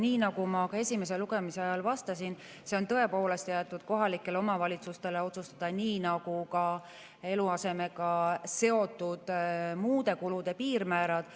Nii nagu ma ka esimese lugemise ajal vastasin, see on tõepoolest jäetud kohalikele omavalitsustele otsustada, nii nagu ka eluasemega seotud muude kulude piirmäärad.